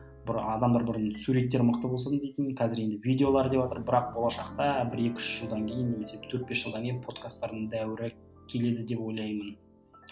бір адамдар бұрын суреттер мықты болсын дейтін қазір енді видеолар деватыр бірақ болашақта бір екі үш жылдан кейін немесе төрт бес жылдан кейін подкастардың дәуірі келеді деп ойлаймын